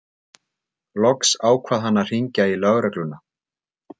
Loks ákvað hann að hringja í lögregluna.